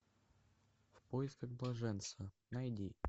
в поисках блаженства найди